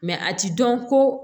a ti dɔn ko